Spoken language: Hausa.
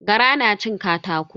Gara na cin katako.